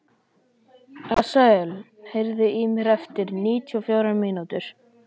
Asael, heyrðu í mér eftir níutíu og fjórar mínútur.